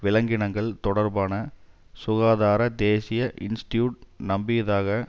விலங்கினங்கள் தொடர்பான சுகாதார தேசிய இன்ஸ்டியூட் நம்பியதாக